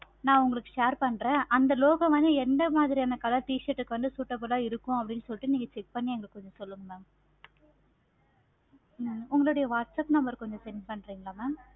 நா உங்களுக்கு share பண்றே. அந்த logo வந்து எந்த மாதிரியான color t-shirt க்கு வந்து suitable ஆஹ் இருக்கும். நீங்க check பண்ணி எங்களுக்கு சொல்லுங்க ma'am ஆஹ் okay mam உங்களுடைய whatsapp number கொஞ்சம் send பண்றிங்களா mam